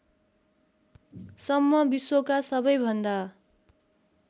सम्म विश्वका सबैभन्दा